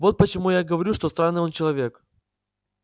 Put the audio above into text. вот почему я говорю что странный он человек